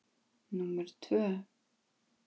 Númer tvö